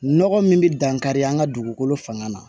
Nɔgɔ min bɛ dankari an ka dugukolo fanga na